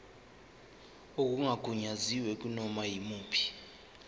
okungagunyaziwe kunoma yimuphi